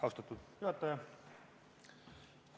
Austatud juhataja!